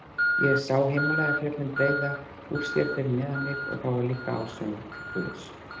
Ég sá Himalajafjöllin breiða úr sér fyrir neðan mig og það var líka ásjóna Guðs.